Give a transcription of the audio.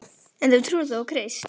En þú trúir þó á Krist?